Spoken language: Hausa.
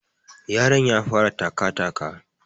Yaron ya fara taka taka